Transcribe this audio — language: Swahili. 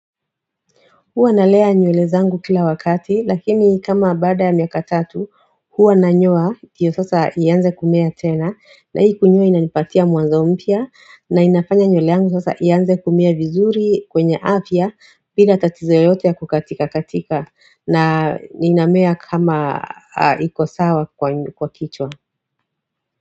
Huwa na lea nywele zangu kila wakati lakini kama baada ya miaka tatu huwa na nyoa ndiyo sasa ianze kumea tena na hii kunyoa inanipatia mwanzo mpya na inafanya nywele yangu sasa ianze kumea vizuri kwenye afya bila tatizo yoyote ya kukatika katika na inamea kama ikosawa kwa kichwa.